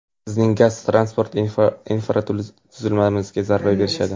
bizning gaz transport infratuzilmamizga zarba berishadi.